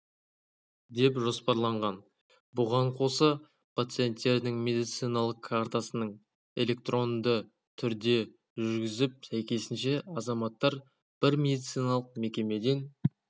деп жоспарланған бұған қоса пациенттердің медициналық картасының электронды түрде жүргізіп сәйкесінше азаматтар бір медициналық мекемеден